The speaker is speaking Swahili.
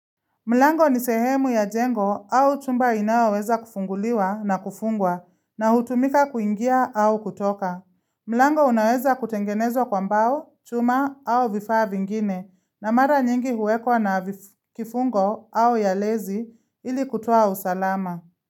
Mlango ni sehemu ya jengo au chumba inayoweza kufunguliwa na kufungwa na hutumika kuingia au kutoka. Mlango unaweza kutengenezwa kwa mbao, chuma au vifaa vingine na mara nyingi huwekwa na kifungo au ya lezi ili kutoa usalama.